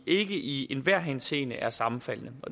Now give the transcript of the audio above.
ikke i enhver henseende er sammenfaldende